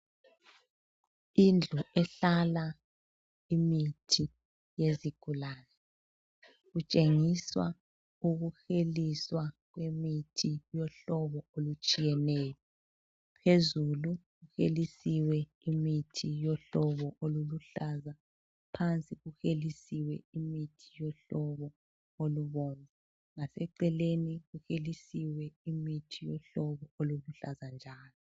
Indlu ehlala imithi yezigulane. Kutshengiswa ukuheliswa kwemithi yohlobo olutshiyeneyo. Phezulu kuhelisiwe imithi yohlobo oluluhlaza, phansi kuhelisiwe imithi yohlobo olubomvu. Ngaseceleni kuhelisiwe imithi yohlobo oluluhlaza njalo.